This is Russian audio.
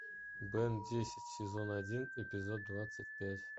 бен десять сезон один эпизод двадцать пять